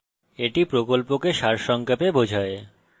এটি কথ্য tutorial প্রকল্পকে সারসংক্ষেপে বোঝায়